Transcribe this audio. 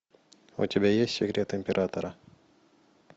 у тебя есть секрет императора